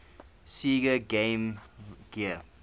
sega game gear